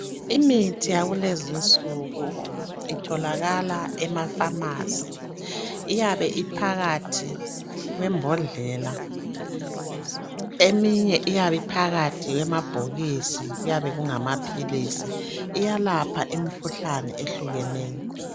Imithi yakulezinsuku itholakala emaphamarcy iyabe iphakathi kwembodlela eminye iyabe iphakathi kwamabhokisi kuyabe kungamaphilisi iyalapha imikhuhlane ehlukeneyo